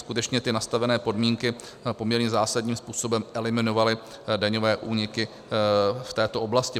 Skutečně ty nastavené podmínky poměrně zásadním způsobem eliminovaly daňové úniky v této oblasti.